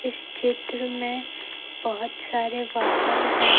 इस चित्र में बहोत सारे वाहन है ।